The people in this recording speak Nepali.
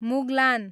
मुगलान